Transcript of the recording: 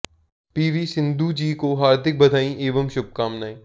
P V Sindhu ji को हार्दिक बधाई एवं शुभकामनाएं